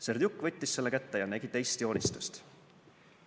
Serdjuk võttis selle kätte ja nägi teist joonistust.